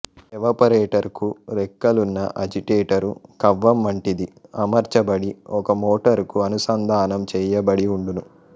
ఎవపరేటరుకు రెక్కలున్న అజిటెటరు కవ్వం వంటిది అమర్చబడి ఒక మోటరుకు అనుసంధానం చెయ్యబడి వుండును